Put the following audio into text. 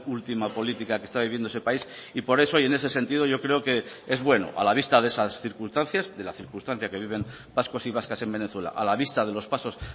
última política que está viviendo ese país y por eso y en ese sentido yo creo que es bueno a la vista de esas circunstancias de la circunstancia que viven vascos y vascas en venezuela a la vista de los pasos